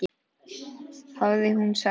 hafði hún sagt.